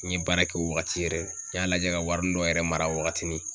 N ye baara kɛ o wagati yɛrɛ n y'a lajɛ ka warinin dɔ yɛrɛ mara wagatinin.